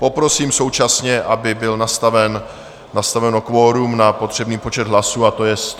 Poprosím současně, aby bylo nastaveno kvorum na potřebný počet hlasů, a to je 101 hlasů.